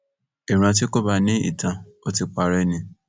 ìran tí kò bá ní ìtàn ò ti parẹ ni